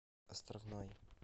островной